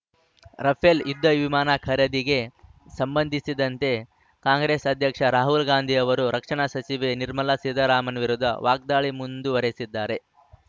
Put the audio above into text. Rafale ಯುದ್ಧವಿಮಾನ ಖರೀದಿಗೆ ಸಂಬಂಧಿಸಿದಂತೆ ಕಾಂಗ್ರೆಸ್‌ ಅಧ್ಯಕ್ಷ ರಾಹುಲ್‌ ಗಾಂಧಿ ಅವರು ರಕ್ಷಣಾ ಸಚಿವೆ ನಿರ್ಮಲಾ ಸೀತಾರಾಮನ್‌ ವಿರುದ್ಧ ವಾಗ್ದಾಳಿ ಮುಂದುವರೆಸಿದ್ದಾರೆ